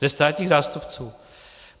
Ze státních zástupců?